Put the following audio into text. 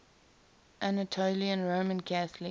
anatolian roman catholic